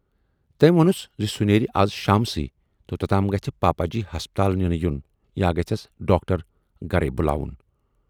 تٔمۍ وونَس سُہ نیرِ اَز شامسٕے تہٕ توتام گژھِ پاپا جی ہسپتال نِنہٕ یُن یا گژھٮ۪س ڈاکٹر گرے بُلاوُن۔